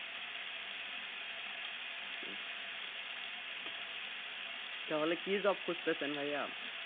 তাহলে কি job খুঁজতেছেন ভাইয়া?